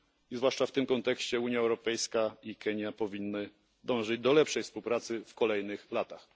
Zwłaszcza w tym kontekście Unia Europejska i Kenia powinny dążyć do lepszej współpracy w kolejnych latach.